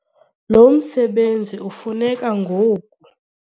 Lo msebenzi ufuneka ngoku.